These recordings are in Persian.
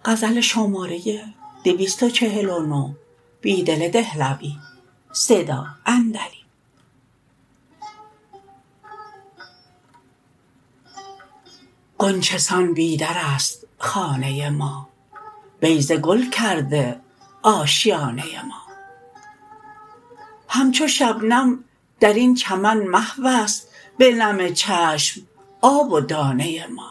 غنچه سان بی در است خانه ما بیضه گل کرده آشیانه ما همچو شبنم درین چمن محو است به نم چشم آب و دانه ما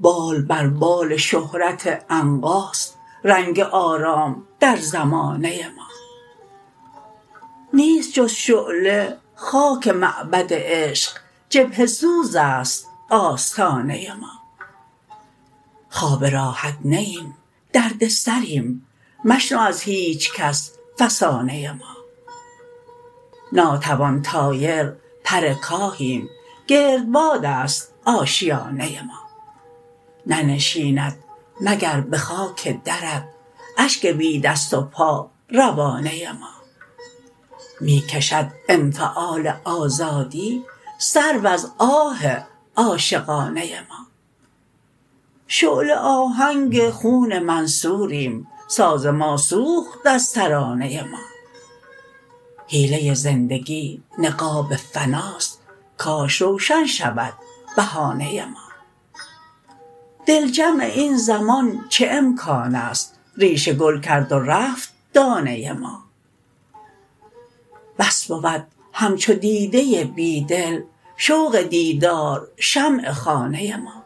بال بربال شهرت عنقاست رنگ آرام در زمانه ما نیست جزشعله خاک معبد عشق جبهه سوز است آستانه ما خواب راحت نه ایم دردسریم مشنو از هیچ کس فسانه ما ناتوان طایر پرکاهیم گردباد است آشیانه ما ننشیند مگر به خاک درت اشک بی دست و پا روانه ما می کشد انفعال آزادی سرو از آه عاشقانه ما شعله آهنگ خون منصوریم ساز ما سوخت از ترانه ما حیله زندگی نقاب فناست کاش روشن شود بهانه ما دل جمع این زمان چه امکان است ریشه گل کرد و رفت دانه ما بس بود همچو دیده بیدل شوق دیدار شمع خانه ما